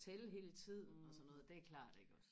tælle hele tiden og sådan noget det er klart iggås